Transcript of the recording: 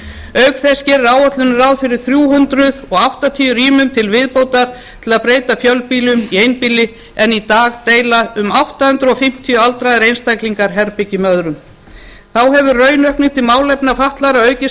auk þess gerir áætlunin ráð fyrir þrjú hundruð áttatíu rýmum til viðbótar til að breyta fjölbýlum í einbýli en í dag deila um átta hundruð fimmtíu aldraðir einstaklingar herbergi með öðrum þá hefur raunaukning til málefna fatlaðra aukist